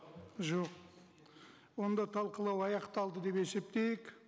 жоқ онда талқылау аяқталды деп есептейік